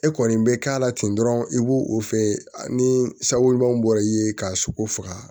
E kɔni bɛ k'a la ten dɔrɔn i b'o o feere ni sawolun bɔra i ye k'a sogo faga